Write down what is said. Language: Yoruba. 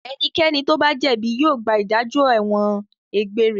Ẹnikẹ́ni tó bá jẹ̀bi yóò gba ìdájọ́ ẹ̀wọ̀n egbére.